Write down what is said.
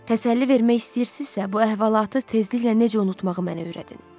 Təsəlli vermək istəyirsizsə, bu əhvalatı tezliklə necə unutmağı mənə öyrədin.